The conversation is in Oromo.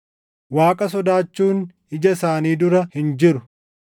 “Waaqa sodaachuun ija isaanii dura hin jiru.” + 3:18 \+xt Far 36:1\+xt*